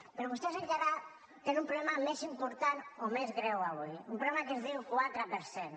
però vostès encara tenen un problema més important o més greu avui un problema que es diu quatre per cent